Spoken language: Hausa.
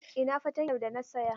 Ina fatanyar da na saya?